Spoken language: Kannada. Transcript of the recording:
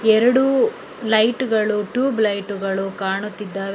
ಎರಡು ಲೈಟ್ ಗಳು ಟ್ಯೂಬ್ ಲೈಟ್ ಗಳು ಕಾಣುತ್ತಿದ್ದಾವೆ.